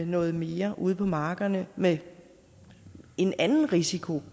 noget mere ude på markerne med en anden risiko